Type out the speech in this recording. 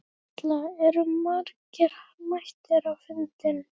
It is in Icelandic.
Erla, eru margir mættir á fundinn?